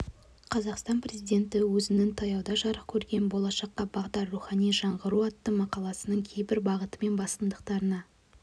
қазақстан президенті өзінің таяуда жарық көрген болашаққа бағдар рухани жаңғыру атты мақаласының кейбір бағыты мен басымдықтарына